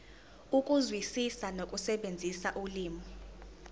ukuzwisisa nokusebenzisa ulimi